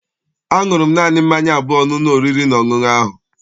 Aṅụrụ m naanị mmanya abụọ n'ụlọ oriri na ọṅụṅụ ahụ.